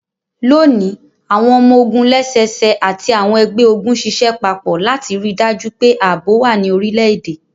Loni, awọn ọmọ-ogun lẹ́sẹsẹ ati àwọn ẹgbẹ-ogun ṣiṣẹ papọ lati rii daju pe aabo wa ní orilẹ-ede.